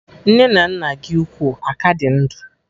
Nne na nna gị ukwu aka dị ndụ?